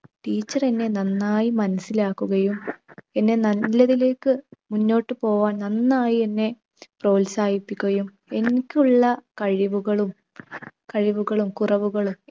teacher എന്നെ നന്നായി മനസിലാക്കുകയും എന്നെ നല്ലതിലേക്ക് മുന്നോട്ടുപോകുവാൻ നന്നായി എന്നെ പ്രോത്സാഹിപ്പിക്കുകയും, എനിക്കുള്ള കഴിവുകളും കഴിവുകളും കുറവുകളും